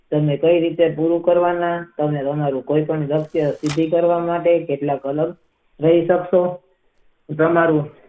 તેમને કઈ રીતે પૂરું કરવા માં અને કોઈ પણ વાક્ય સુધી કરવા માટે તેમાં રહેલું છે.